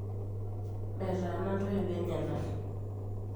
metaana intoiwuo enyenak